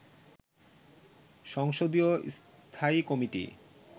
সংসদীয় স্থায়ী কমিটি